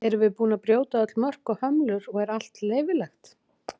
erum við búin að brjóta öll mörk og hömlur og er allt leyfilegt